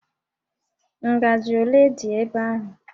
Ngajị ole dị ebe ahụ?